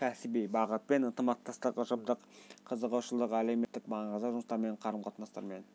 кәсіби бағытпен ынтымақтастық ұжымдық қызығушылық әлеуметтік маңызды жұмыстармен қарым-қатынастармен